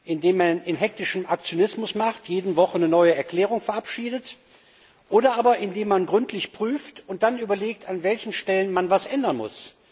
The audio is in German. Indem man in hektischen Aktionismus verfällt und jede Woche eine neue Erklärung verabschiedet, oder aber indem man gründlich prüft und dann überlegt, an welchen Stellen man etwas ändern muss.